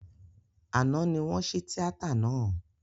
Àná ní wọ́n ṣí tíátà náà